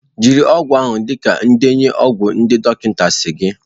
Jiri ọgwụ ahụ dịka ndenye ọgwụ ndị dọkịta si dị